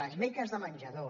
les beques de menjador